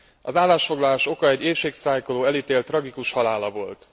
Az állásfoglalás oka egy éhségsztrájkoló elítélt tragikus halála volt.